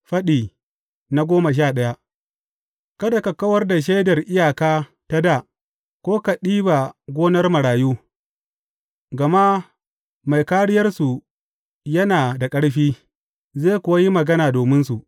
Faɗi goma sha daya Kada ka kawar da shaidar iyaka ta dā ko ka ɗiba gonar marayu, gama mai Kāriyarsu yana da ƙarfi; zai kuwa yi magana dominsu.